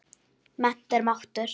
Mennt er máttur.